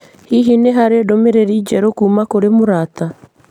Hihi nĩ harĩ ndũmĩrĩri njerũ kuuma kũrĩ mũrata